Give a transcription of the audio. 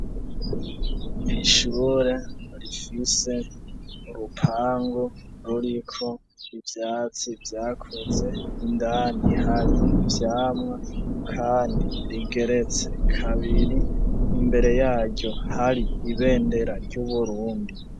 Ishure rifise urupangu ruriko ivyatsi vyakuze; indani hari ivyamwa kandi rigeretse kabiri. Imbere yaryo hari ibendera ry'Uburundi.